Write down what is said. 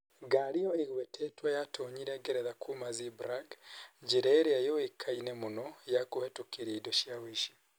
Ngari ĩyo ĩgwetetwo yatoonyire Ngeretha kuuma Zeebrugge. njĩra ĩrĩa yuĩkaine mũno ya kũhĩtũkĩra indo cia ũici.